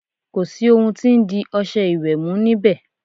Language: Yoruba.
Kò sì ohun tí ń di ọṣẹ ìwẹ̀ mú níbẹ̀.